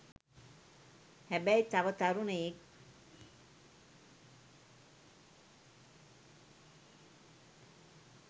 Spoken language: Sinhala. හැබැයි තව තරුණයෙක්